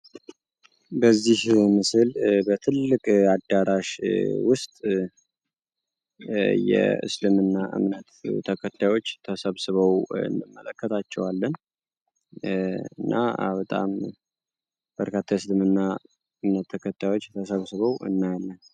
በዚህ ምስል በትልቅ አዳራሽ ውስጥ የስልምና እምነት ተከታዮች ተሰብስበው እንመለከታለን። እና በርካታ የእስልምና እምነት ተከታዮች ተሰብስበው እናያለን።